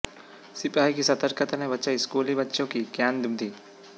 सिपाही की सतर्कता ने बचाई स्कूली बच्चों की जान दुद्धी